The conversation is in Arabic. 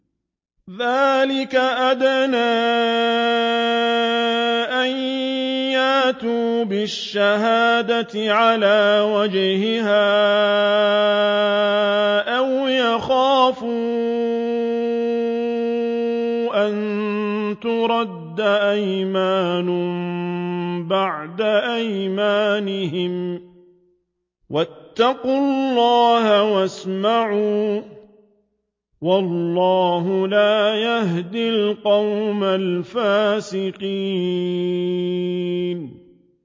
ذَٰلِكَ أَدْنَىٰ أَن يَأْتُوا بِالشَّهَادَةِ عَلَىٰ وَجْهِهَا أَوْ يَخَافُوا أَن تُرَدَّ أَيْمَانٌ بَعْدَ أَيْمَانِهِمْ ۗ وَاتَّقُوا اللَّهَ وَاسْمَعُوا ۗ وَاللَّهُ لَا يَهْدِي الْقَوْمَ الْفَاسِقِينَ